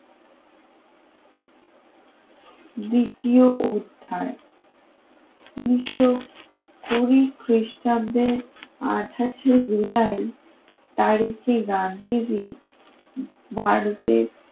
দ্বিতীয় অধ্যায় উন্নিশ কুড়ি খ্রিস্টাব্দে আটাশ শে জুলাই তারিখে গান্ধীজি ভারতের